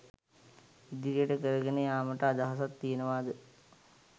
ඉදිරියට කරගෙන යාමට අදහසක් තියෙනවාද?